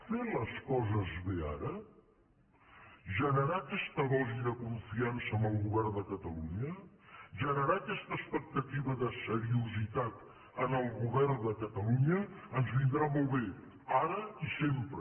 fer les coses bé ara generar aquesta dosi de confiança en el govern de catalunya generar aquesta expectativa de seriositat en el govern de catalunya ens vindrà molt bé ara i sempre